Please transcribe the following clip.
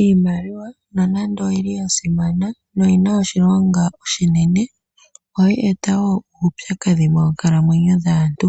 Iimaliwa nonando oyili ya simana noyina oshilonga oshinene, ohayi e ta woo uupyakadhi moonkalamwenyo dhaantu.